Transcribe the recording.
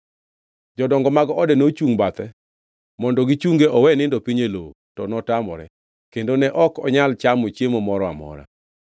Jodongo mag ode nochungʼ bathe mondo gichunge owe nindo piny e lowo, to notamore, kendo ne ok onyal chamo chiemo moro amora.